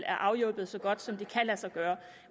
er afhjulpet så godt som det kan lade sig gøre